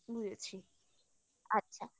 বুঝেছি আচ্ছা